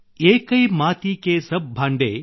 ಏಕೈ ಮಾತಿ ಕೆ ಸಬ್ ಭಾಂಡೆ